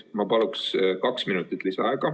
Ma paluks kaks minutit lisaaega.